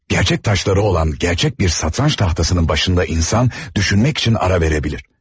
Gerçək taşları olan gerçək bir satranç tahtasının başında insan düşünmək üçün ara verə bilər.